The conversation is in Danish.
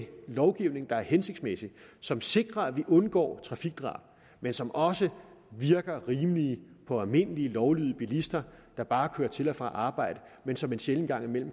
lovgivning der er hensigtsmæssig og som sikrer at vi undgår trafikdrab men som også virker rimelig for almindelige lovlydige bilister der bare kører til og fra arbejde men som en sjælden gang